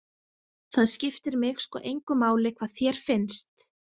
Það skiptir mig sko engu máli hvað þér finnst.